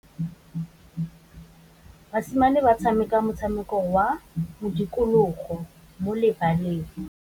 Basimane ba tshameka motshameko wa modikologô mo lebaleng.